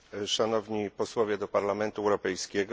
Szanowni Posłowie do Parlamentu Europejskiego!